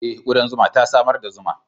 Eh, kudan zuma ta samar da zuman.